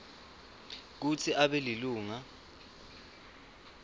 kutsi abe lilunga